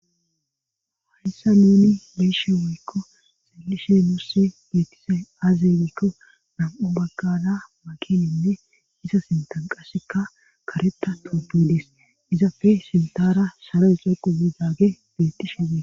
hayssa nuni leeshe woykko salishe nussi bettise azegikko nam7u baggana makininne isa sintan qasekka kareta toopedis izafe sintara saro es xoqu yidaage bettishe we